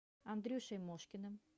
андрюшей мошкиным